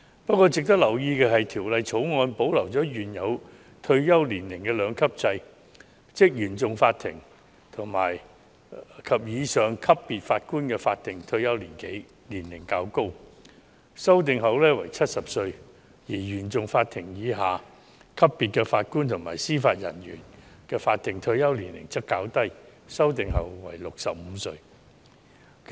不過，值得留意的是，《條例草案》保留了原有的退休年齡兩級制，即原訟法庭及以上級別法官的法定退休年齡較高，修訂後為70歲；而原訟法庭以下級別法官及司法人員的法定退休年齡則較低，修訂後為65歲。